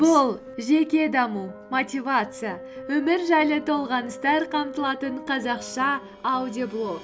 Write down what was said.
бұл жеке даму мотивация өмір жайлы толғаныстар қамтылатын қазақша аудиоблог